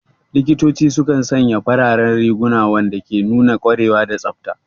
Likitoci sukan sanya fararen riguna, wanda ke nuna ƙwarewa da tsafta.